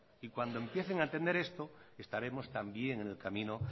y cuando empiecen a entender esto estaremos también en el camino